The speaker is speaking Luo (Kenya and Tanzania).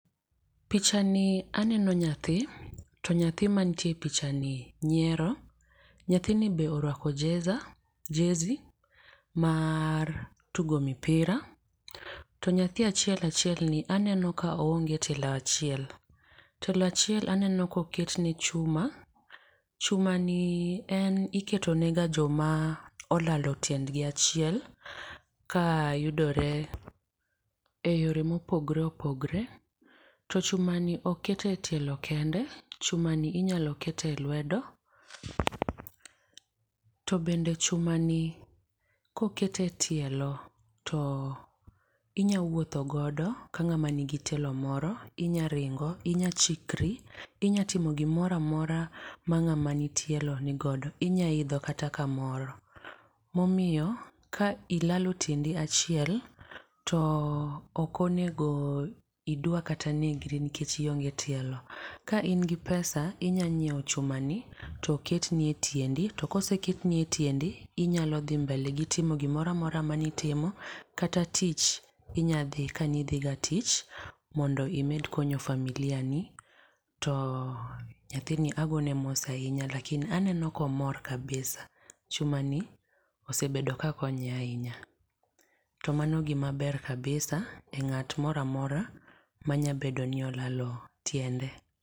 picha ni aneno nyathi to nyathi mantie e picha ni nyiero, nyathini be oruako jesa jesi mar tugo mpira. To nyathi achiel achielni aneno ka oonge tielo achiel, tielo achiel aneno ka oketne chuma. Chumani iketoga ne joma olalo tiendhi achiel ka yudore eyore mopogore opogore. To chumani ok ket e tielo kende, chumani inyalo ket e lwedo to bende chumani koket e tielo to inyalo wuotho godo ka ng'ama nigi tielo moro. Inyalo ringo, inyalo chikri, inyalo timo gimoro amora ma ng'ama nigi tielo nigodo, inyalo idho kata kamoro. Momiyo ka ilalo tiendi achiel to ok o nego idwa kata negri nikech ionge tielo. Ka in gi pesa inyalo nyiewo chumani to ketni e tiendi, to ka oseketni e tiendi inyalo dhi mbele gi timo gimoro amora manitimo kata tich, inyalo dhi tich, inyalo dhi kane idhiga tich mondo imed konyo familia ni. To nyathini agoyo ne mos ahinya lakini aneno ka omor kabisa, chumani osebedo kakonye ahinya. To mano gima ber kabisa ne ng'at moro amora manyalo bedo ni olalo tiende.